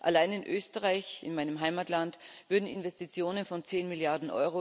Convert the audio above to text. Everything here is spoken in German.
Allein in Österreich, in meinem Heimatland, würden Investitionen von 10 Mrd.